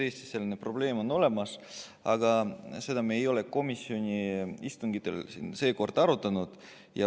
Eestis selline probleem on olemas, aga seda me komisjoni istungitel seekord ei arutanud.